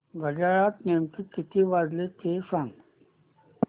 घड्याळात नेमके किती वाजले ते सांग